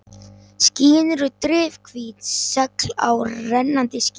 Skýin eru drifhvít segl á rennandi skipi.